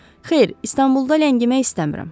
Xeyr, İstanbulda ləngimək istəmirəm.